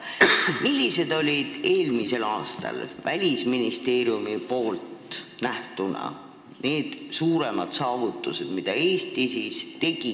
Millised olid eelmisel aastal Välisministeeriumi arvates Eestis suuremad saavutused selles vallas?